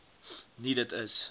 nie dit is